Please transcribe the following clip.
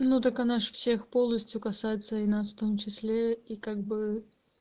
ну так она же всех полностью касается и нас в том числе и как бы